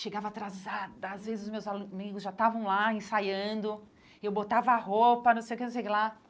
Chegava atrasada, às vezes os meus alu migos já estavam lá ensaiando, eu botava a roupa, não sei o que, não sei o que lá.